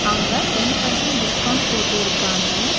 அங்க ten percent discount போட்டிருக்காங்க.